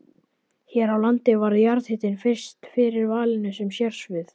Hér á landi varð jarðhitinn fyrst fyrir valinu sem sérsvið.